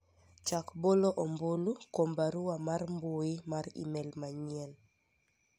chak bolo ombulu kuom barua mar mbui mar email mayien